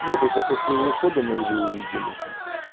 нет это после его ухода мы уже увидели